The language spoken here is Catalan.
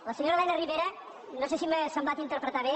la senyora elena ribera no sé si m’ha semblat interpretar bé